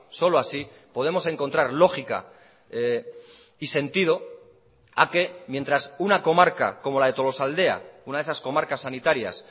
solo así podemos encontrar lógica y sentido a que mientras una comarca como la de tolosaaldea una de esas comarcas sanitarias